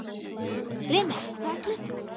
Remek, hvað er klukkan?